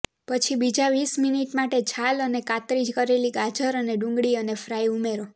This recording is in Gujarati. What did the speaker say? પછી બીજા વીસ મિનિટ માટે છાલ અને કાતરી કરેલી ગાજર અને ડુંગળી અને ફ્રાય ઉમેરો